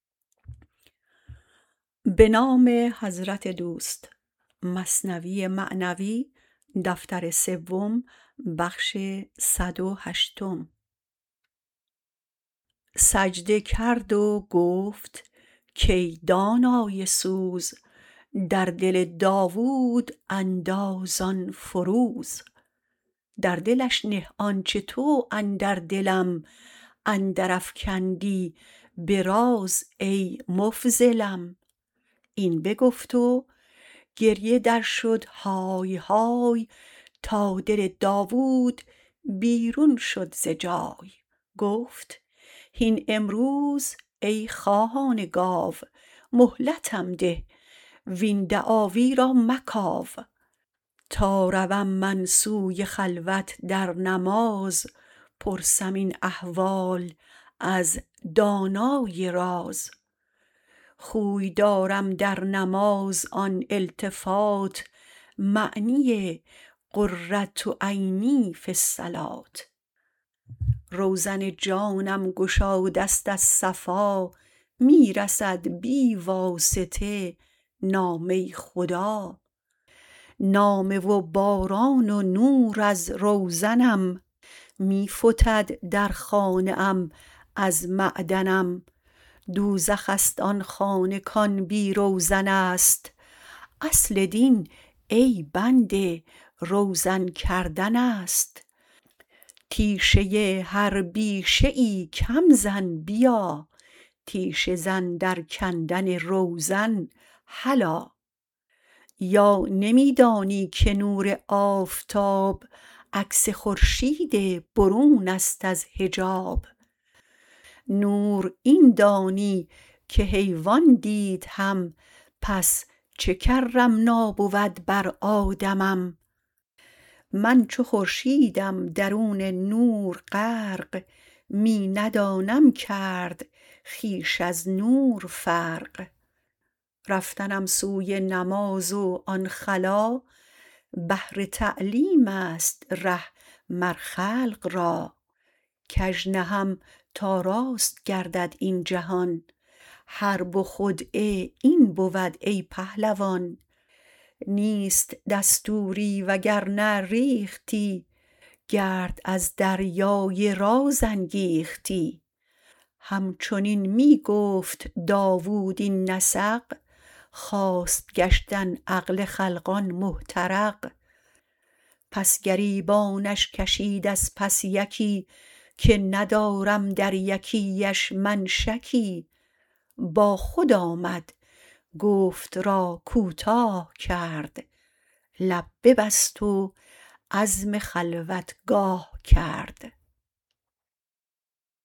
سجده کرد و گفت کای دانای سوز در دل داود انداز آن فروز در دلش نه آنچ تو اندر دلم اندر افکندی به راز ای مفضلم این بگفت و گریه در شد های های تا دل داود بیرون شد ز جای گفت هین امروز ای خواهان گاو مهلتم ده وین دعاوی را مکاو تا روم من سوی خلوت در نماز پرسم این احوال از دانای راز خوی دارم در نماز این التفات معنی قرة عینی فی الصلوة روزن جانم گشادست از صفا می رسد بی واسطه نامه خدا نامه و باران و نور از روزنم می فتد در خانه ام از معدنم دوزخست آن خانه کان بی روزنست اصل دین ای بنده روزن کردنست تیشه هر بیشه ای کم زن بیا تیشه زن در کندن روزن هلا یا نمی دانی که نور آفتاب عکس خورشید برونست از حجاب نور این دانی که حیوان دید هم پس چه کرمنا بود بر آدمم من چو خورشیدم درون نور غرق می ندانم کرد خویش از نور فرق رفتنم سوی نماز و آن خلا بهر تعلیمست ره مر خلق را کژ نهم تا راست گردد این جهان حرب خدعه این بود ای پهلوان نیست دستوری و گر نه ریختی گرد از دریای راز انگیختی همچنین داود می گفت این نسق خواست گشتن عقل خلقان محترق پس گریبانش کشید از پس یکی که ندارم در یکیی اش شکی با خود آمد گفت را کوتاه کرد لب ببست و عزم خلوتگاه کرد